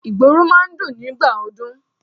Ìgboro máa ń dùn nígbà ọdún.